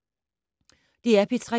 DR P3